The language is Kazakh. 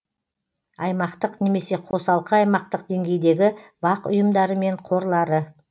аймақтық немесе қосалқы аймақтық деңгейдегі бақ ұйымдары мен қорлары